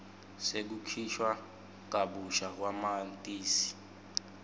sekukhishwa kabusha kwamatisi